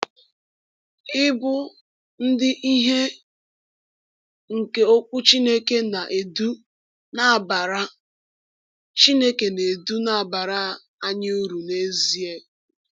Ịbụ ndị ìhè nke Okwu Chineke na-edu na-abara Chineke na-edu na-abara anyị uru n’ezie.